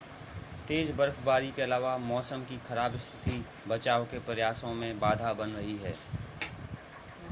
तेज़ बर्फबारी के अलावा मौसम की ख़राब स्थिति बचाव के प्रयासों में बाधा बन रही है